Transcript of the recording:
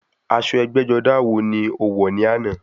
Aṣọ ẹgbẹ́-jọdá wo ni o wọ̀ ní àná?